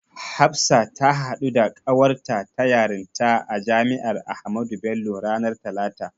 Hafsa ta haɗu da ƙawarta ta yarinta a Jami'ar Ahmadu Bello ranar talata.